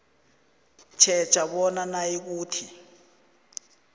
tjheja bona nayikuthi